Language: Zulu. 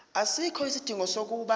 asikho isidingo sokuba